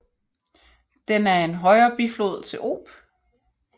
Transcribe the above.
Den er en højre biflod til Ob